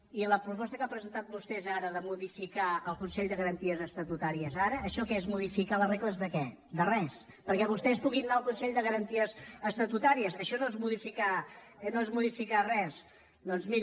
i la proposta que han presentat vostès ara de modificar el consell de garanties estatutàries ara això què és modificar les regles de què de res perquè vostès puguin anar al consell de garanties estatutàries això no és modificar res doncs miri